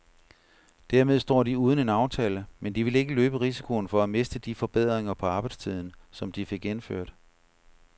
Dermed står de uden en aftale, men de vil ikke løbe risikoen for at miste de forbedringer på arbejdstiden, som de fik indført.